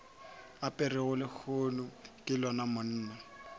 aperego lehono ke lona monna